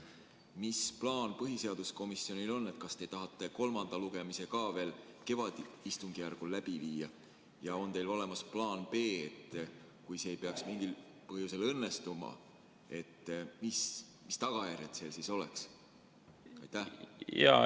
Mis plaan põhiseaduskomisjonil on: kas te tahate kolmanda lugemise ka veel kevadisel istungjärgul läbi viia või on olemas plaan B, et kui see ei peaks mingil põhjusel õnnestuma, siis mis tagajärjed sellel oleks?